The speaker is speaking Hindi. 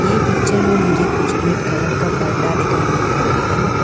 ये पिक्चर में मुझे कुछ रेड कलर का पर्दा दिखाई मिल रहा है।